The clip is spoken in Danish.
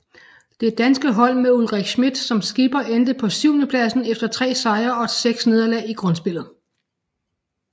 Det danske hold med Ulrik Schmidt som skipper endte på syvendepladsen efter tre sejre og seks nederlag i grundspillet